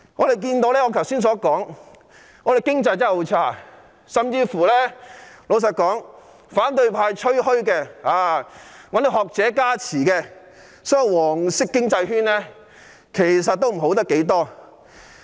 正如我剛才說過，現時的經濟非常差，即使是反對派吹噓並找來學者加持的"黃色經濟圈"，其實也好不了多少。